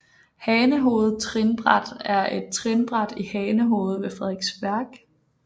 Hanehoved Trinbræt er et trinbræt i Hanehoved ved Frederiksværk